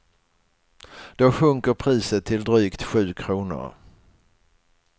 Då sjunker priset till drygt sju kronor.